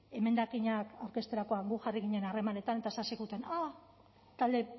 emendakinak aurkezterakoan gu jarri ginen harremanetan eta esan ziguten a